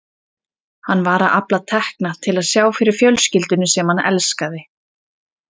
Hann var að afla tekna til að sjá fyrir fjölskyldunni sem hann elskaði.